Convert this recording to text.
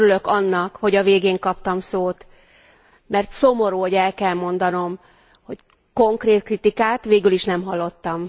Örülök annak, hogy a végén kaptam szót, mert szomorú, hogy el kell mondanom, hogy konkrét kritikát végül is nem hallottam.